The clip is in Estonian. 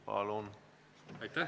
Palun!